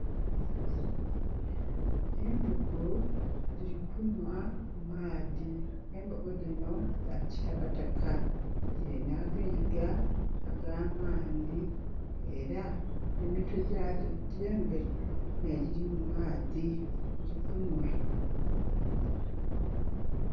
Embogo dhiri kunhwa maadhi. Embogo dhinho dha kitakataka dhirinha agayiga agamanhi era emitwe gya dho egye mberi ne dhiri mumadhi dhiri kunhwa